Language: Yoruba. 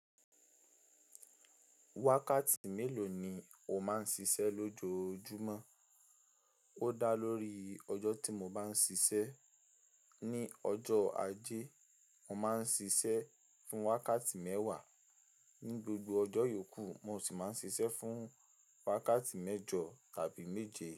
Wákàtí mélòó ni o máa ń ṣiṣẹ́ lójoojúmọ́? Ó dá lórí ọjọ́ tí mo bá ń ṣiṣẹ́. Ni ọjọ́ ajé, mo máa ń ṣiṣẹ́ fún wákàtí mẹ́wàá, ní gbogbo ọjọ́ yòókù mo sì máa ń ṣiṣẹ́ fún wákàtí mẹ́jọ tàbí méje.